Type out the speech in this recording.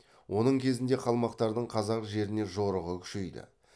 оның кезінде қалмақтардың қазақ жеріне жорығы күшейді